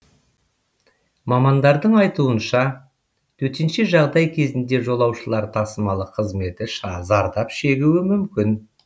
мамандардың айтуынша төтенше жағдай кезінде жолаушылар тасымалы қызметі зардап шегуі мүмкін